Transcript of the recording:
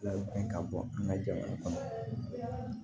Labɛn ka bɔ an ka jamana kɔnɔ